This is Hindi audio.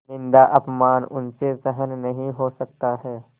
निन्दाअपमान उनसे सहन नहीं हो सकता है